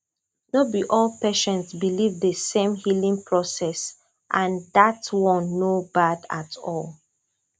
no be all patients believe the same healing process and that one no bad at all